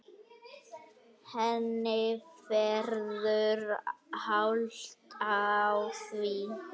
Henni verður hált á því.